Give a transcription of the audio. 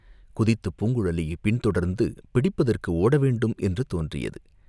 குதித்துப் பூங்குழலியைப் பின்தொடர்ந்து பிடிப்பதற்கு ஓட வேண்டும் என்று தோன்றியது.